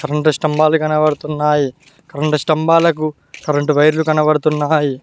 రెండు స్తంభాలు కనపడుతున్నాయి రెండు స్తంభాలకు కరెంటు వైర్లు కనబడుతున్నాయి.